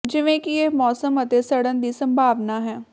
ਜਿਵੇਂ ਕਿ ਇਹ ਮੌਸਮ ਅਤੇ ਸਡ਼ਨ ਦੀ ਸੰਭਾਵਨਾ ਹੈ